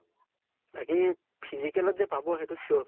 বাকী physical ত যে পাব, সেইতো sure